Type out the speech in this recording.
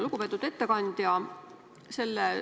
Lugupeetud ettekandja!